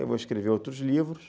Eu vou escrever outros livros.